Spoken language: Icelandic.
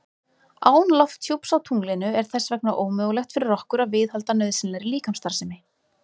Án lofthjúps á tunglinu er þess vegna ómögulegt fyrir okkur að viðhalda nauðsynlegri líkamsstarfsemi.